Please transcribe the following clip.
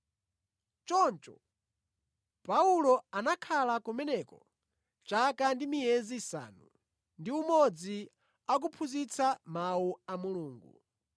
Choncho Paulo anakhala kumeneko chaka ndi miyezi isanu ndi umodzi akuphunzitsa Mawu a Mulungu.